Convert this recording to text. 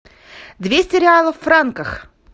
двести реалов в франках